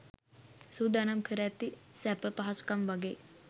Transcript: සූදානම් කර ඇති සැප පහසුකම් වගෙයි.